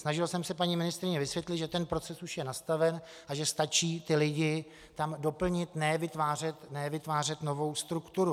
Snažil jsem se paní ministryni vysvětlit, že ten proces už je nastaven a že stačí ty lidi tam doplnit, ne vytvářet novou strukturu.